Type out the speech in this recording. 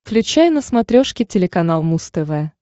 включай на смотрешке телеканал муз тв